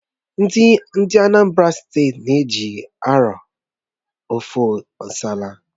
Ndị Anambra Steeti na-eji ji arọ ofe nsala